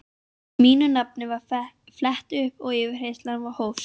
Mínu nafni var flett upp og yfirheyrslan hófst.